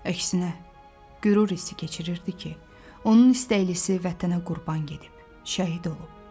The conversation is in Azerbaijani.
Əksinə, qürur hissi keçirirdi ki, onun istəklisi vətənə qurban gedib, şəhid olub.